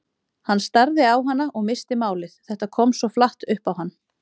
Hann starði á hana og missti málið, þetta kom svo flatt upp á hann.